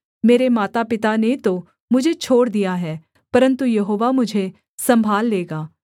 मेरे मातापिता ने तो मुझे छोड़ दिया है परन्तु यहोवा मुझे सम्भाल लेगा